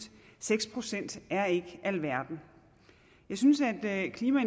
seks procent er ikke alverden jeg synes at klima